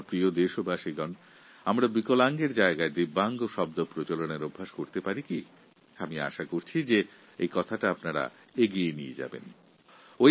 দেশবাসীর কাছে আমার আবেদন বিকলাঙ্গ শব্দের পরিবর্তে আমরা কি দিব্যাঙ্গ শব্দের প্রচলন করতে পারি আমার আশা আমরা এই বিষয়ে ভবিষ্যতে চিন্তাভাবনা করতে পারি